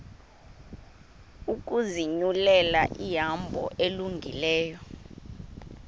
ukuzinyulela ihambo elungileyo